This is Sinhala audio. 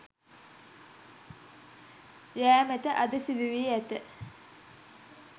යෑමට අද සිදු වී ඇත.